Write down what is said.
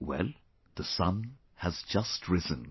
Well, the sun has just risen